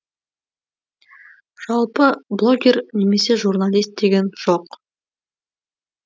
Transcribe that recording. жалпы блогер немесе журналист деген жоқ